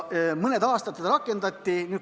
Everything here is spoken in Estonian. Mõned aastad seda rakendati.